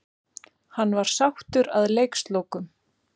Hann var sáttur að leikslokum.